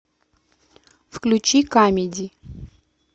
включи камеди